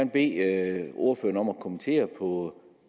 bede ordføreren om at kommentere på